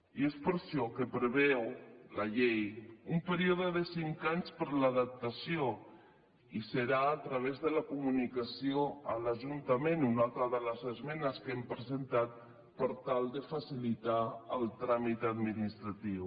i és per això que preveu la llei un període de cinc anys per a l’adaptació i serà a través de la comunicació a l’ajuntament una altra de les esmenes que hem presentat per tal de facilitar el tràmit administratiu